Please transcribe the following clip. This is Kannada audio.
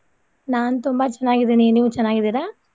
ನಾನ್ ತುಂಬಾ ಚೆನ್ನಾಗಿದಿನಿ ನೀವ ಚೆನ್ನಾಗಿದಿರಾ?